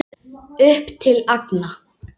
Upp til agna.